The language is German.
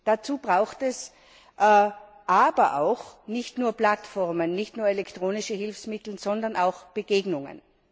Dazu braucht es aber auch nicht nur Plattformen, nicht nur elektronische Hilfsmittel, sondern auch Begegnungen.